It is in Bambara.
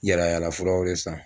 Yala furaw san sanvant